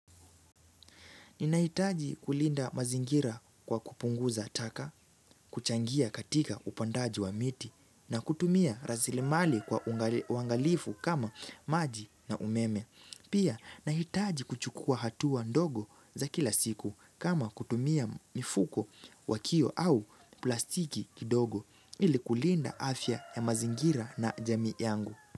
Ninahitaji kulinda mazingira kwa kupunguza taka, kuchangia katika upandaji wa miti, na kutumia rasilimali kwa uangalifu kama maji na umeme. Pia, nahitaji kuchukua hatua ndogo za kila siku kama kutumia mifuko wakio au plastiki kidogo ili kulinda afya ya mazingira na jamii yangu.